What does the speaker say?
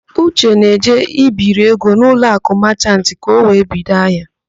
Uche na-eje ibiri ego n'Uloakụ Machant ka ọ wee bido ahịa.